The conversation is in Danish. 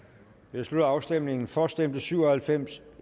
jeg slutter afstemningen for stemte syv og halvfems